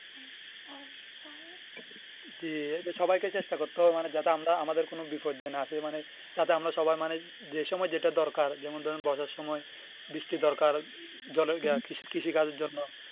জি সবাইকে চেষ্টা করতে হবে মানে যাতে আমরা আমাদের কোনো বিপর্যয় না আসে মানে যাতে আমরা সবাই মানে যে সময় যেটা দরকার যেমন ধরেন বর্ষার সময় বৃষ্টি দরকার জলের কৃষিকাজের জন্য